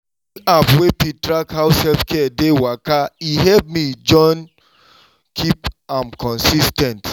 using app wey fit track how self-care dey waka e help me jom keep am consis ten t.